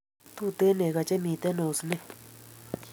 Tuten neko che miten osnet .